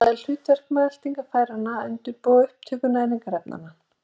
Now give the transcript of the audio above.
Það er hlutverk meltingarfæranna að undirbúa upptöku næringarefnanna.